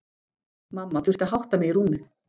Mamma þurfti að hátta mig í rúmið.